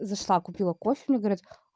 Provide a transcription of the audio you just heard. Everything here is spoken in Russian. зашла купила кофе мне говорят